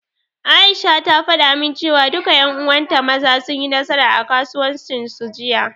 Aisha ta faɗa min, cewa duka ƴan uwan ta Maza, sun yi nasara a kasuwancin su, Jiya.